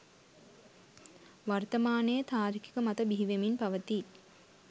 වර්තමානයේ තාර්කික මත බිහිවෙමින් පවතී